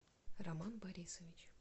роман борисович